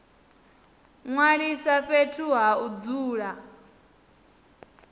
ṅwalisa fhethu ha u dzula